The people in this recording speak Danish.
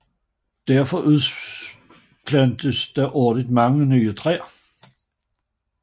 Derfor udplantes der årligt mange nye træer